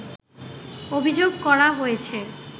অভিযোগ করা হয়েছে